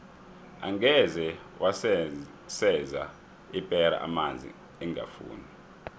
angeze waseza ipera amanzi ingafuni